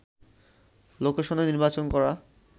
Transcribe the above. লোকেশনে নির্বাচন করা